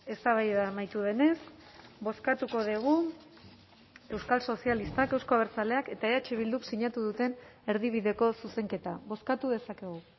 eztabaida amaitu denez bozkatuko dugu euskal sozialistak euzko abertzaleak eta eh bilduk sinatu duten erdibideko zuzenketa bozkatu dezakegu